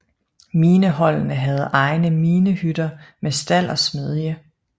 Mineholdene havde egne minehytter med stald og smedje